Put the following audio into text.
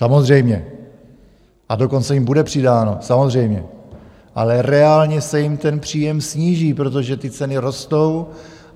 Samozřejmě, a dokonce jim bude přidáno, samozřejmě, ale reálně se jim ten příjem sníží, protože ty ceny rostou.